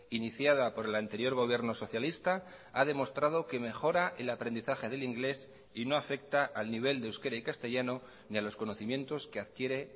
iniciada por el anterior gobierno socialista ha demostrado que mejora el aprendizaje del inglés y no afecta al nivel de euskera y castellano ni a los conocimientos que adquiere